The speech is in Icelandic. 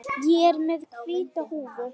Ég er með hvíta húfu.